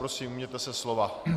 Prosím, ujměte se slova.